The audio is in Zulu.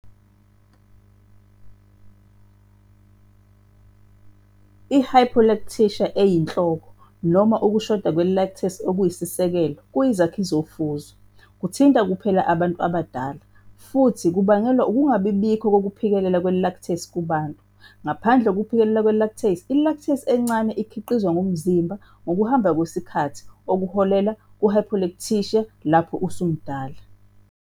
I-hypolactasia eyinhloko, noma ukushoda kwe-lactase okuyisisekelo, kuyizakhi zofuzo, kuthinta kuphela abantu abadala, futhi kubangelwa ukungabikho kokuphikelela kwe-lactase. Kubantu ngaphandle kokuphikelela kwe-lactase, i-lactase encane ikhiqizwa ngumzimba ngokuhamba kwesikhathi, okuholela ku-hypolactasia lapho usumdala.